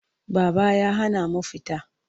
Baba ya hana mu fita.